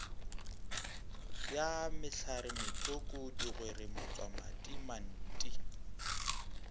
ya mehlaretsoko digwere matswamathi manti